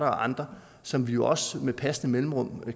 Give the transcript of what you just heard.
og andre som vi også med passende mellemrum